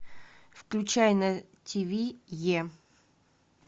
включай на тв е